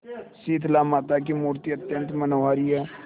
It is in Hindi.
शीतलामाता की मूर्ति अत्यंत मनोहारी है